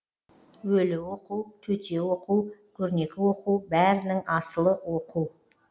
өлі оқу төте оқу көрнекі оқу бәрінің асылы оқу